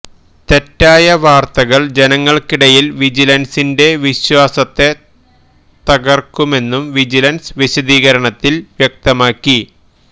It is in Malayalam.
തെറ്റായ വാര്ത്തകള് ജനങ്ങള്ക്കിടയില് വിജിലന്സിന്റെ വിശ്വാസത്തെ തകര്ക്കുമെന്നും വിജിലന്സ് വിശദീകരണത്തില് വ്യക്തമാക്കി